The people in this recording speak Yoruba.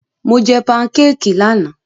Mo jẹ pankékì lánàá.